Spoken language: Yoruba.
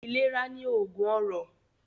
Ìlera ni oògùn ọrọ̀